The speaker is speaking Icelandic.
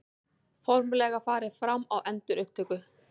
Formlega farið fram á endurupptöku